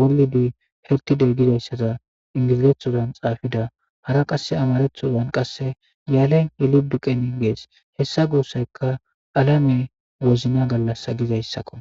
wolidi hertide gizayssaza ingiizeethozan xaafida hara qasse amarethozan qasse yaalen yeliduqenin gees hessa guussayka alame wozna gallasa gizayssakko